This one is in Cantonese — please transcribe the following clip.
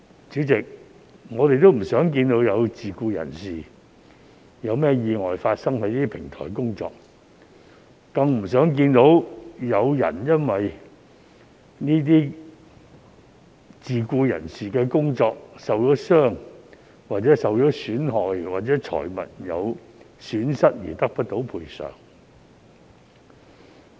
主席，我們也不想看到有自僱人士在這些平台工作期間發生意外，更不想看到有自僱人士因為工作受傷、受損害，或招致財物損失而得不到賠償。